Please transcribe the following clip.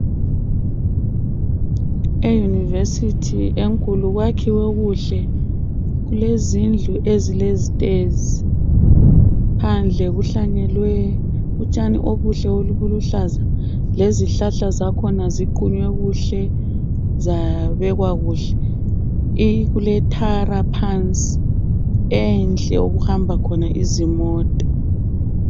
Eyunivesithi enkulu kwakhiwe kuhle kulezindlu esilezitezi phandle kuhlanyelwe utshani obuhle obuluhlaza lezihlahla zakhona ziqunywe kuhle zabekwa kuhle kuletara phansi enhle okuhamba khona izimota.